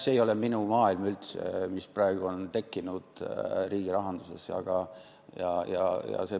See ei ole üldse minu maailm, mis praegu on riigirahanduses tekkinud.